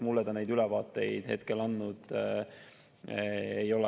Mulle ta neid ülevaateid praegu andnud ei ole.